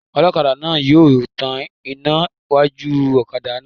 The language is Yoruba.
Ọlọ́kadà náà yóò tan iná iwájú ọ̀kadà náà